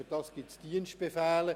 Dafür gibt es Dienstbefehle: